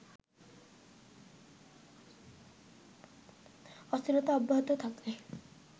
অস্থিরতা অব্যাহত থাকলে